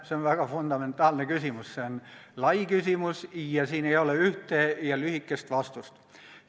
See on väga fundamentaalne küsimus, see on lai küsimus ja siin ei ole ühte ja lühikest vastust.